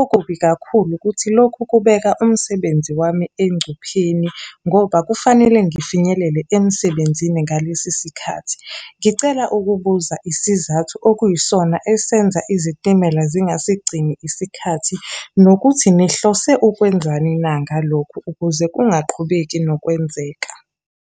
Okubi kakhulu ukuthi lokhu kubeka umsebenzi wami engcupheni, ngoba kufanele ngifinyelele emsebenzini ngalesi sikhathi. Ngicela ukubuza isizathu okuyisona esenza izitimela zingasigcini isikhathi, nokuthi nihlose ukwenzani na ngalokhu ukuze kungaqhubeka nokwenzeka?